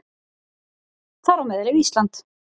Þar á meðal er Ísland.